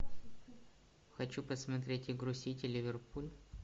хочу посмотреть игру сити ливерпуль